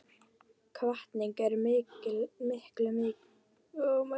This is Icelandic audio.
Hvatning er miklu vænlegri til árangurs en neikvæðar athugasemdir.